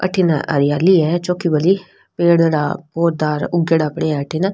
अठन हरियाली है चोखी भली पेड़ पौधा उगेडा पड़े है अठन --